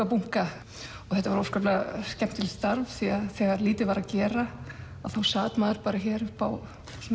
bunka og þetta var óskaplega skemmtilegt starf því að þegar lítið var að gera þá sat maður hér uppi á